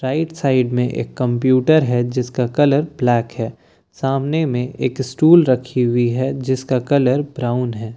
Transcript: right side में एक computer है जिसका कलर ब्लैक है सामने में एक स्टूल रखी हुई है जिसका कलर ब्राउन है--